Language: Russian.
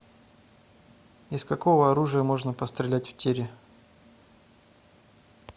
из какого оружия можно пострелять в тире